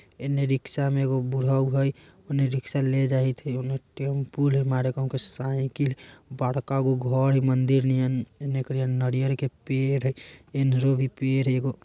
एने रिक्शा में एगो बुढ़ऊ हई । उन्है रिक्शा ले जायत है। ओने टेमपु ले माड़ेको साइकिल बड़का गो घर है मंदिर निहन । ने करीय नारियर के पेड़ हइ। इन्हरो भी पेड़ है एगो।